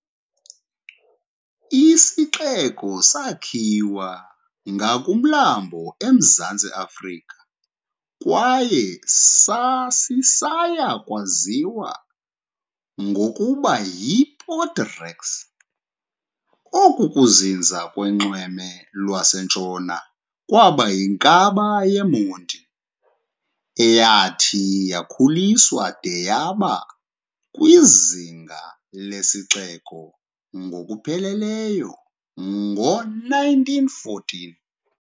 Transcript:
Isixeko sakhiwa ngakumlambo eMzantsi Afrika kwaye sasisaya kwaziwa ngokokuba yiPort Rex. Oku kuzinza kunxweme lwaseNtshona kwaba yinkaba yeMonti, eyathi yakhuliswa de yaba kwizinga lesixeko ngokupheleleyo ngo-1914.